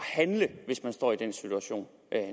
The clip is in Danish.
handle hvis man står i den situation